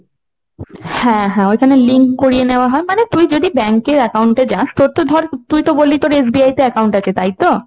হ্যাঁ হ্যাঁ ওইখানে link করিয়ে নেওয়া হয়। মানে তুই যদি bank এর account এ যাস, তোর তো ধর, তুই তো বললি তোর SBI তে account আছে। তাই তো?